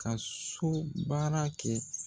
Ka so baara kɛ.